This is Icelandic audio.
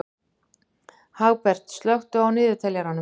Hagbert, slökktu á niðurteljaranum.